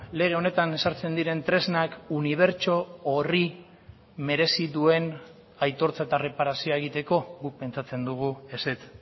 lege honetan ezartzen diren tresnak unibertso horri merezi duen aitortza eta erreparazioa egiteko guk pentsatzen dugu ezetz